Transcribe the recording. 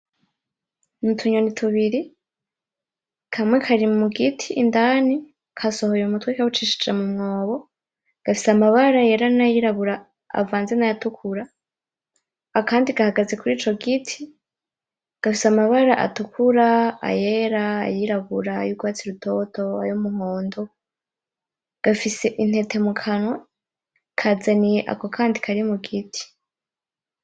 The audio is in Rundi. Nutunyoni tubiri, kamwe kari mugiti indani kasohoye umutwe kawucishije mu mwobo gafise amabara yera nayirabura, avanze nayatukura. Akandi gahagaze kurico giti, gafise amabara atukura, ayera, ayirabura, yurwatsi rutoto ayumuhondo, gafise intete mukanwa kazaniye ako kandi kari mugiti.